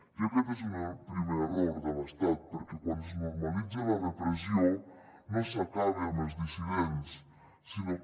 i aquest és un primer error de l’estat perquè quan es normalitza la repressió no s’acaba amb els dissidents sinó que